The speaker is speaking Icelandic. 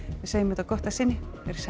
segjum þetta gott að sinni verið sæl